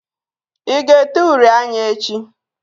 I ga-ete uri anya echi?